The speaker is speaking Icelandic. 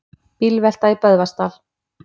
Bílvelta í Böðvarsdal